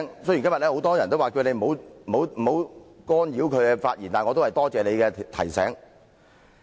雖然今天很多議員都請你不要干擾他們的發言，但我仍然多謝你的提醒。